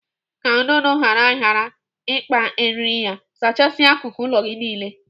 Ka ududo ghara ghara ịkpa eriri ya, zachasia akụkụ ụlọ gị niile.